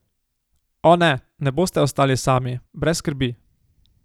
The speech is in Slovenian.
O, ne, ne boste ostali sami, brez skrbi.